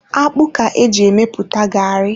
Akpụ ka eji emepụta garri.